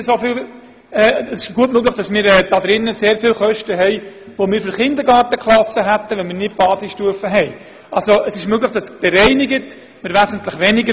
Es ist gut möglich, dass darin noch Ausgaben enthalten sind, die wir für Kindergartenklassen hätten tätigen müssen, wenn es keine Basisstufe gäbe.